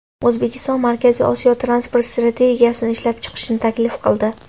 O‘zbekiston Markaziy Osiyo transport strategiyasini ishlab chiqishni taklif qildi.